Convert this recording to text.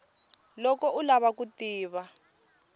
loko u lava ku tiva